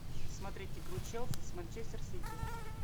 смотреть игру челси с манчестер сити